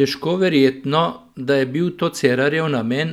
Težko verjetno, da je bil to Cerarjev namen,